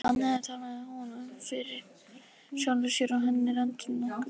Þannig talaði hún um fyrir sjálfri sér og henni létti nokkuð.